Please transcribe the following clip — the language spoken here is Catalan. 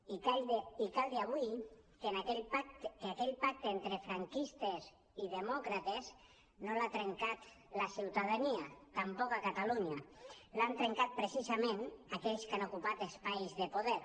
i cal dir avui que aquell pacte entre franquistes i demòcrates no l’ha trencat la ciutadania tampoc a catalunya l’han trencat precisament aquells que han ocupat espais de poder